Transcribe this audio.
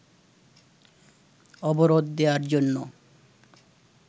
অবরোধ দেয়ার জন্য